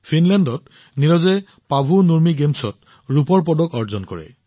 ফিনলেণ্ডত নীৰজে Paavo Nurmi গেমছত ৰূপৰ পদক অৰ্জন কৰে